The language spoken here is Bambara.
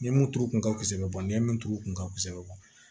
Ni ye mun tuuru kun kasɛbɛ kosɛbɛ ni ye mun tuuru kun ka se